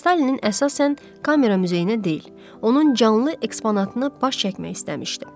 Stalinin əsasən kamera muzeyinə deyil, onun canlı eksponatını baş çəkmək istəmişdi.